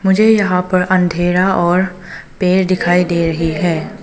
मुझे यहां पर अंधेरा और पेड़ दिखाई दे रही है।